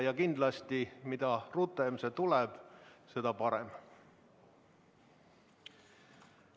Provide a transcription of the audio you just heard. Ja kindlasti, mida rutem see tuleb, seda parem.